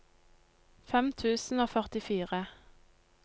fem tusen og førtifire